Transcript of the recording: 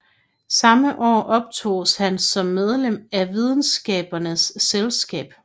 Samme år optoges han som medlem af Videnskabernes Selskab